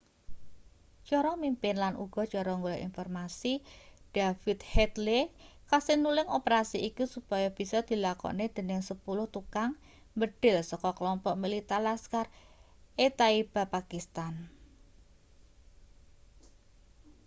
cara mimpin lan uga cara golek informasi david headley kasil nulung operasi iki supaya bisa dilakokne dening 10 tukang mbedhil saka klompok militan laskhar-e-taiba pakistan